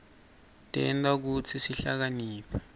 tenta kutsi sihlakaniphe